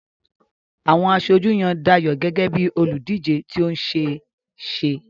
Àwọn aṣojú yan Dayo gẹ́gẹ́ bí olùdíje tí ó ṣe é ṣe.